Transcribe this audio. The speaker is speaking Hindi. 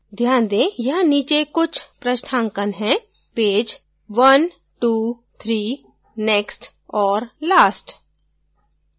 ध्यान दें यहाँ नीचे कुछ पृष्ठांकन हैपेज 123 next और last